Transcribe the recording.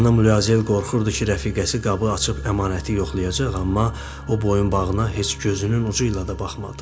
Xanım Luazel qorxurdu ki, rəfiqəsi qabı açıb əmanəti yoxlayacaq, amma o boyunbağına heç gözünün ucuyla da baxmadı.